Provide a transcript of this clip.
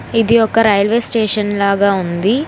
ఇది ఒక railway station లాగా ఉంది.